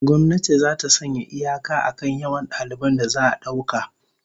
Gwamnati zata sanya iyaka akan yawan daliban da za'a dauka